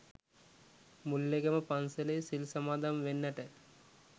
මුල්ලේගම පංසලේ සිල් සමාදම් වෙන්නට